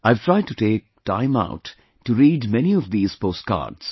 I have tried to take time out to read many of these post cards